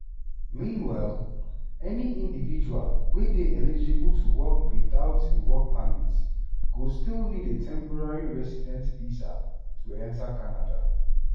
meanwhile any individual wey dey eligible to work witout a work permit go still need a temporary resident visa to enta canada.